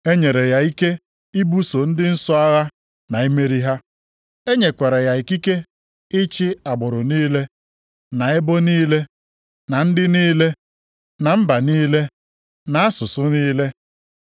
E nyere ya ike ibuso ndị nsọ agha na imeri ha. E nyekwara ya ikike ịchị agbụrụ niile, na ebo niile, na ndị niile, na mba niile na asụsụ niile.